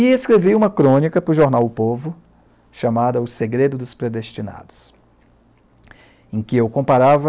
E escrevi uma crônica para o jornal O Povo, chamada O Segredo dos Predestinados, em que eu comparava